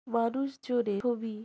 মানুষ জোরে খুবি।